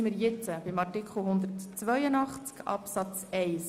Wir kommen zu Artikel 182 Absatz 1.